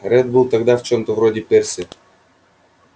реддл был тогда в чём-то вроде перси